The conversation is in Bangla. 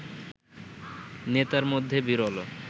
নেতার মধ্যে বিরল